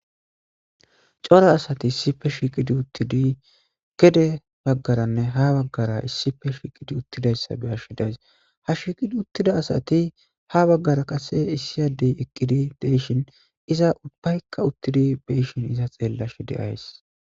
cora asati issife shiiqidi uttidi gede baggaranne ha baggara issife shiiqidi uttidayssa be ashidays ha shiiqidi uttida asati ha baggara qase issiyadey eqqidi deyshin iza ubbaykka uttidi beshin iza xeellash de ays